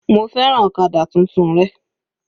Mo fẹ́ràn ọ̀kadà tuntun rẹ.